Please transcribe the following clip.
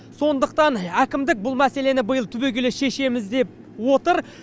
сондықтан әкімдік бұл мәселені биыл түбегейлі шешеміз деп отыр